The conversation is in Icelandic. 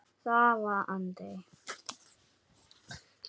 Það varð aldrei!